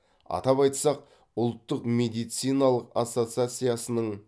атап айтсақ ұлттық медициналық ассоциациясының